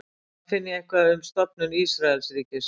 hvar finn ég eitthvað um stofnun ísraelsríkis